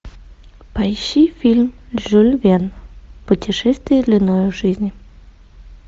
поищи фильм жюль верн путешествие длиною в жизнь